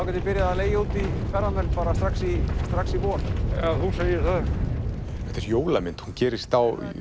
ég byrjað að leigja út í ferðamenn bara strax í strax í vor já þú segir það þetta er jólamynd hún gerist